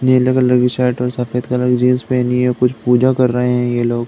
नीले कलर की शर्ट और सफ़ेद कलर की जीन्स पहनी है। कुछ पूजा कर रहे हैं ये लोग।